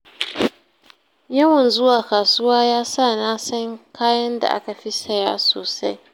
Yawan zuwa kasuwa ya sa na san kayan da aka fi saya sosai.